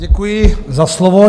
Děkuji za slovo.